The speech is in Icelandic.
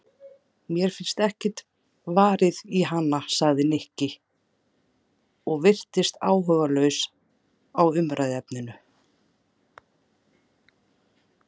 Mér finnst ekkert varið í hana sagði Nikki og virtist áhugalaus á umræðuefninu.